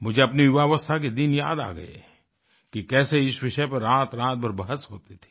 मुझे अपनी युवावस्था के दिन याद आ गए कि कैसे इस विषय पर रातरात भर बहस होती थी